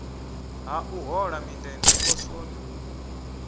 ha u hola mindende poswoni